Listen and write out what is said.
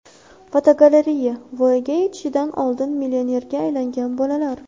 Fotogalereya: Voyaga yetishidan oldin millionerga aylangan bolalar.